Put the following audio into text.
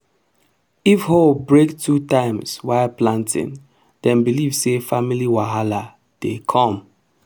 if hoe break two times while planting dem believe say family wahala dey come.